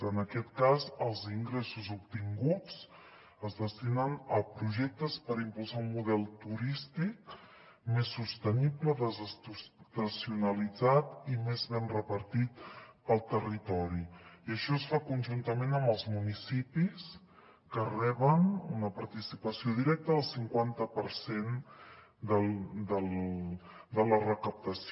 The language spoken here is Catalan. en aquest cas els ingressos obtinguts es destinen a projectes per impulsar un model turístic més sostenible desestacionalitzat i més ben repartit pel territori i això es fa conjuntament amb els municipis que reben una participació directa del cinquanta per cent de la recaptació